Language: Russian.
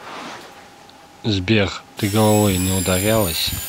сбер ты головой не ударялась